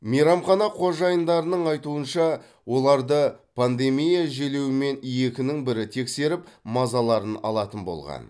мейрамхана қожайындарының айтуынша оларды пандемия желеуімен екінің бірі тексеріп мазаларын алатын болған